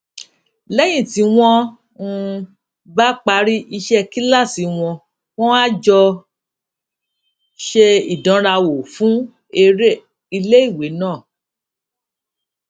léyìn tí wón um bá parí iṣé kíláàsì wọn wón á jọ ṣe ìdánrawò fún eré iléiwé náà